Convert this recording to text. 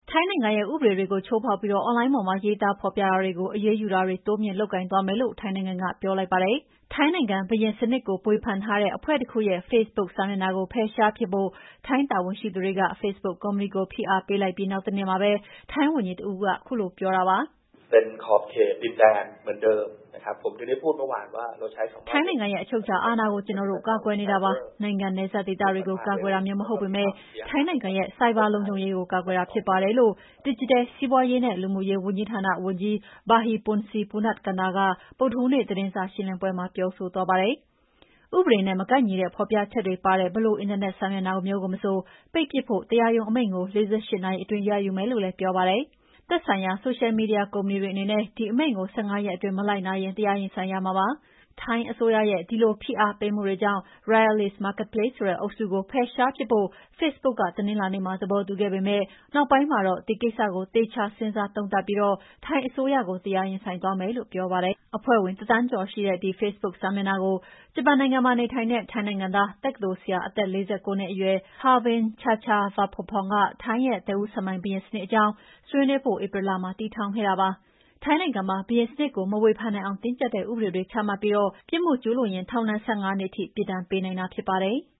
ထိုင်းနိုင်ငံရဲ့ ဥပဒေတွေကို ချိုးဖောက်ပြီး အွန်လိုင်းပေါ်မှာ ရေးသားဖော်ပြတာတွေကို အရေးယူတာတွေ တိုးမြှင့်လုပ်ဆောင်သွားမယ်လို့ ထိုင်းနိုင်ငံကပြောလိုက်ပါတယ်။ ထိုင်းနိုင်ငံ၊ ဘုရင်စနစ်ကို ဝေဖန်ထားတဲ့ အဖွဲ့တခုရဲ့ဖေ့ဘုတ်စာမျက်နှာကို ဖယ်ရှားပစ်ဖို့ ထိုင်းတာဝန်ရှိသူတွေ ဖေ့ဘုတ်ကုမ္ပဏီကို ဖိအားပေးလိုက်ပြီးနောက်တနေ့မှာပဲ ထိုင်းဝန်ကြီးတဦးကို အခုလိုပြောတာပါ။ "ထိုင်းနိုင်ငံရဲ့ အချုပ်အခြာအာဏာကို ကျနော်တို့ ကာကွယ်နေတာပါ။ နိုင်ငံနယ်စပ်ဒေသတွေကို ကာကွယ်တာမျိုး မဟုတ်ပေမဲ့ ထိုင်းနိုင်ငံရဲ့ ဆိုင်ဘာလုံခြုံရေးကို ကာကွယ်တာဖြစ်ပါတယ်။" လို့ ဒစ်ဂျစ်တယ်စီးပွားရေးနဲ့ လူမှုရေးဝန်ကြီးဌာနဝန်ကြီး Buddhipongse Punnakanta က ဗုဒ္ဓဟူးနေ့ သတင်းစာရှင်းလင်းပွဲမှာပြောဆိုသွားတာဖြစ်ပါတယ်။ ဥပဒေနဲ့ မကိုက်ညီတဲ့ ဖော်ပြချက်တွေပါတဲ့ ဘယ်လို အင်တာနက်စာမျက်နှာမျိုးကိုမဆို ပိတ်ပစ်ဖို့ တရားရုံးအမိန့်ကို ၄၈ နာရီအတွင်း ရယူမယ်လို့လည်းပြောပါတယ်။ သက်ဆိုင်ရာ ဆိုရှယ်မီဒီယာ ကုမ္ပဏီတွေ အနေနဲ့ ဒီအမိန့်ကို က ၁၅ ရက်အတွင်းမလိုက်နာရင် တရားရင်ဆိုင်ရမှာဖြစ်ပါတယ်။ ထိုင်းအစိုးရရဲ့ ဒီလိုဖိအားပေးမှုတွေကြောင့် Royalist Marketplace ဆိုတဲ့အုပ်စုကို ဖယ်ရှားပစ်ဖို့ ဖေ့စ်ဘုတ်က တနင်္လာနေ့မှာ သဘောတူခဲ့ပေမယ့် နောက်ပိုင်းမှာတော့ ဒီကိစ္စကို သေချာစဉ်းစားသုံးသပ်ပြီး ထိုင်းအစိုးရကို တရားရင်ဆိုင်သွားမယ်လို့ပြောပါတယ်။ အဖွဲဝင် ၁,၀၀၀,၀၀၀ ကျော်ရှိတဲ့ ဒီဖေ့စ်ဘုတ်စာမျက်နှာကို ဂျပန်နိုင်ငံမှာနေထိုင်နေတဲ့ ထိုင်းနိုင်ငံသား တက္ကသိုလ်ဆရာ၊ အသက် ၄၉ နှစ်အရွယ် Pavin Chachavalpongpun က ထိုင်းရဲ့ သက်ဦးဆံပိုင်ဘုရင်စနစ်အကြောင်း ဆွေးနွေးဖို့ ဧပြီလမှာ တည်ထောင်ခဲ့တာဖြစ်ပါတယ်။ ထိုင်းနိုင်ငံမှာ ဘုရင်စနစ်ကို မဝေဖန်နိုင်အောင် တင်းကြပ်တဲ့ ဥပဒေတွေ ချမှတ်ပြီး ပြစ်မှုကျူးလွန်ရင် ထောင်ဒဏ် ၁၅ နှစ်ထိပြစ်ဒဏ်ပေးနိုင်တာဖြစ်ပါတယ်။